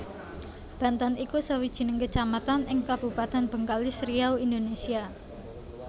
Bantan iku sawijining kecamatan ing Kabupatèn Bengkalis Riau Indonesia